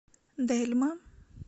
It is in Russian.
дельма